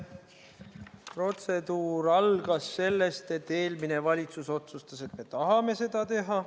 Protseduur algas sellest, et eelmine valitsus otsustas, et me tahame seda teha.